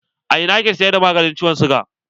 A ina ake siyar da maganin ciwon siga?